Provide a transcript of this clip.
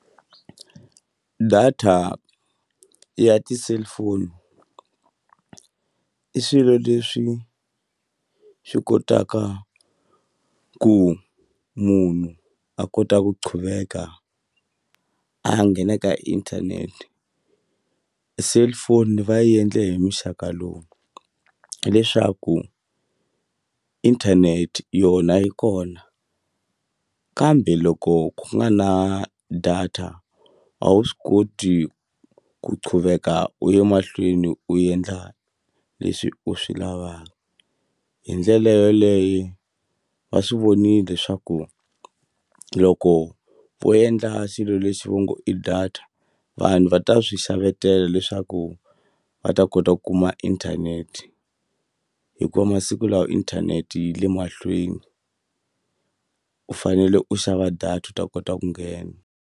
Data ya ti-cellphone i swilo leswi swi kotaka ku munhu a kota ku qhuveka a nghena ka internet cellphone yi va yi endle hi muxaka lowu hileswaku internet yona yi kona kambe loko ku nga na data a wu swi koti ku qhuveka u ye mahlweni u endla leswi u swi lavaka hi ndlela yoleye va swi vonile swaku loko vo endla xilo lexi vo ngo i data ta vanhu va ta swi xavetela leswaku va ta kota ku kuma inthanete hikuva masiku lawa inthanete yi le mahlweni u fanele u xava data u ta kota ku nghena.